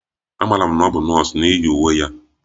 Amaara m na ọ bụ nọọsụ n'ihi uwe ya